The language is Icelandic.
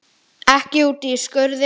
Ekki úti í skurði.